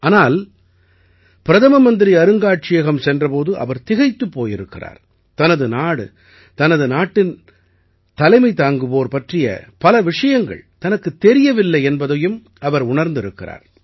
ஆனால் பிரதம மந்திரி அருங்காட்சியகம் சென்ற போது அவர் திகைத்துப் போயிருக்கிறார் தனது நாடு தனது நாட்டிற்குத் தலைமை தாங்குவோர் பற்றிய பல விஷயங்கள் தனக்குத் தெரியவில்லை என்பதையும் அவர் உணர்ந்திருக்கிறார்